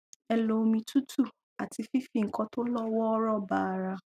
ẹ lo omi tútù àti fífi nǹkan tó lọ wọọrọ ba ara